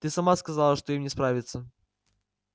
ты сама сказала что им не справиться